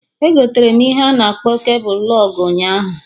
Egoterem ihe a na akpọ kebul lụg ụnyaahụ